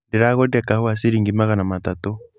Ndĩragũrire kahũa ciringi magana matatũ.